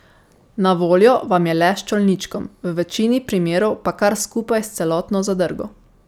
Na voljo vam je le s čolničkom, v večini primerov pa kar skupaj s celotno zadrgo.